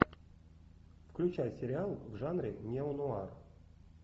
включай сериал в жанре неонуар